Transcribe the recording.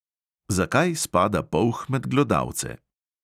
Zakaj spada polh med glodavce?